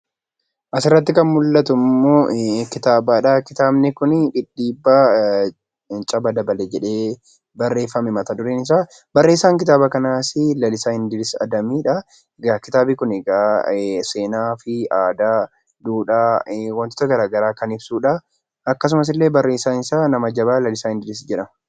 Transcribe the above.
Asirratti kan mul'atu immoo kitaabadha. Kitaabni Kun dhidhiibbaa caba dabale jedhee barreeffame, mata dureen isaa barreessaan kitaaba kanaas Lalisaa Indiriis Adamidha. Kitaabni Kun seenaa fi aadaa, duudhaa waantota garaagaraa kan ibsudha akkasumas illee barreessaan isaa nama jabaa Lalisaa Indiriis jedhama.